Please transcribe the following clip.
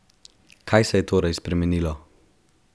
Kaj se je torej spremenilo?